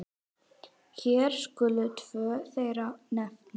Hér skulu tvö þeirra nefnd.